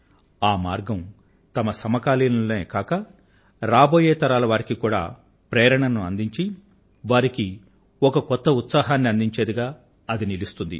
ఆ మార్గం తమ సమకాలీనులకే కాక రాబోయే తరాల వారికి కూడా ప్రేరణను అందించి వారికి ఒక కొత్త ఉత్సాహాన్ని అందించేదిగా అది నిలుస్తోంది